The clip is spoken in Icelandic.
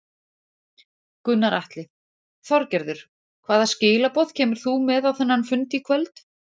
Gunnar Atli: Þorgerður hvaða skilaboð kemur þú með á þennan fund í kvöld?